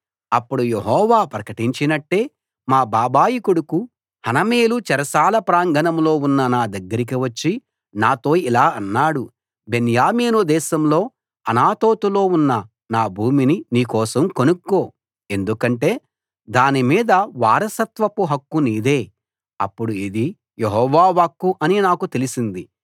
అప్పుడు యెహోవా ప్రకటించినట్టే మా బాబాయి కొడుకు హనమేలు చెరసాల ప్రాంగణంలో ఉన్న నా దగ్గరికి వచ్చి నాతో ఇలా అన్నాడు బెన్యామీను దేశంలో అనాతోతులో ఉన్న నా భూమిని నీ కోసం కొనుక్కో ఎందుకంటే దాని మీద వారసత్వపు హక్కు నీదే అప్పుడు ఇది యెహోవా వాక్కు అని నాకు తెలిసింది